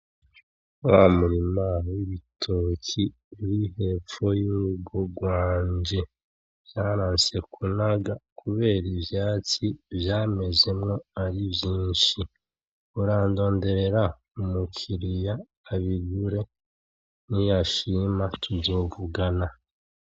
Wa murima w’ibitoke ruri hepfo y’urugo rwanje. Vyaranse kunaga kubera ivyatsi vyamezemwo ari vyinshi. Murandonderera umu kiriya abigura niyashima tuzovugana.